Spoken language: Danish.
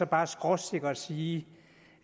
bare skråsikkert sige